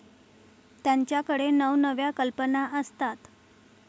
त्यांच्याकडे नवनव्या कल्पना असतात.